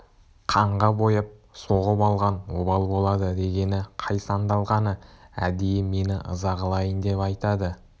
қанға бояп соғып алған обал болады дегені қай сандалғаны әдейі мені ыза қылайын деп айтады